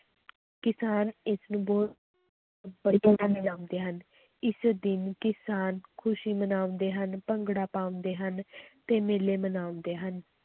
ਕਿਸਾਨ ਇਸਨੂੰ ਬਹੁਤ ਮਨਾਉਂਦੇ ਹਨ, ਇਸ ਦਿਨ ਕਿਸਾਨ ਖ਼ੁਸ਼ੀ ਮਨਾਉਂਦੇ ਹਨ, ਭੰਗੜਾ ਪਾਉਂਦੇ ਹਨ ਤੇ ਮੇਲੇ ਮਨਾਉਂਦੇ ਹਨ।